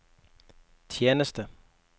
tjeneste